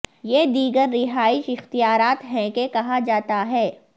یہ دیگر رہائش اختیارات ہیں کہ کہا جاتا ہے